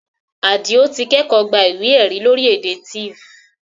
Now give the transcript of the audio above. Àdìó ti kẹ́kọ̀ọ́ gba ìwé ẹ̀rí lórí èdè Tiv